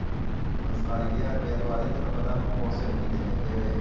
ਪੰਤਾਲੀ ਕੁ ਹਜ਼ਾਰ ਰੁਪਈਆ ਦਵਾ ਦੀ ਤੈਨੂੰ ਪਤਾ ਮੋਟਰਸਾਈਕਲ ਕਿੇਨੇ ਮਹਿੰਗੇ ਹੋਏ ਹਾ।